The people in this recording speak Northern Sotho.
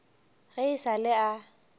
ge e sa le a